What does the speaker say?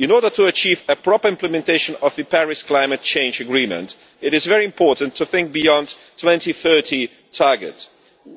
You know that, to achieve a proper implementation of the Paris climate change agreement, it is very important to think beyond the 2030 target,